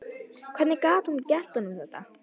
Hvernig gat hún gert honum þetta?